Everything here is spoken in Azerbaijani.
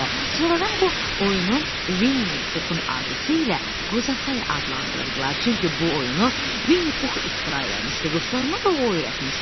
Sonradan bu oyunu Vinni Puxun arzusu ilə Qoza Say adlandırdılar, çünki bu oyunu Vinni Pux ixtira eləmişdi, dostlarına da o öyrətmişdi.